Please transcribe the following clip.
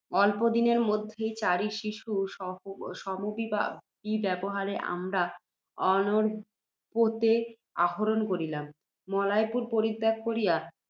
অল্প দিনের মধ্যেই, চারি শিশু সমভিব্যাহারে, আমরা অর্ণবপোতে আরোহণ করিলাম। মলয়পুর পরিত্যাগ করিয়া